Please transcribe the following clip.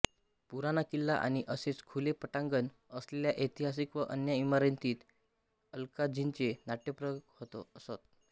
पुराना किल्ला आणि असेच खुले पटांगण असलेल्या ऐतिहासिक व अन्य इमारतींत अल्काझींचे नाट्यप्रयोग होत असत